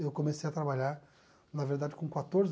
Eu comecei a trabalhar, na verdade, com quatorze